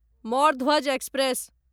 Mordhwaj express